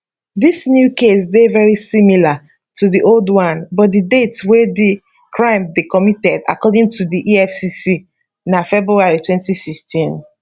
dis new case dey very similar to di old one but di date wey di crime dey committed according to di efcc na february 2016